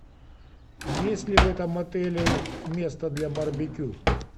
есть ли в этом отеле место для барбекю